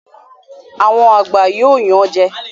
Àwọn àgbà yóò yan jẹ